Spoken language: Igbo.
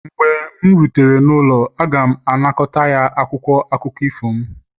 mgbe m rutere n'ụlọ, a ga-anakọta ya akwụkwọ akụkọ ifo m